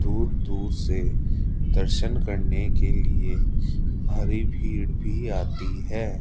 दूर दूर से दर्शन करने के लिए भारी भीड़ भी आती है।